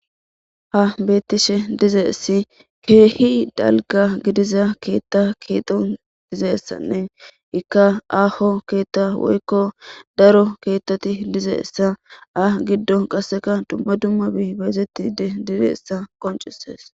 ha beettishe dizeessi keehi dalga gidiza keetta keexo dizeessanne ikka aho keetta woykko daro keettati dizeessa a giddo qasseka dumma dummabi beezettide dizeessa qoncises